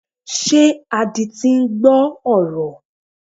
Ṣé adití ń gbọ́ ọ̀rọ̀?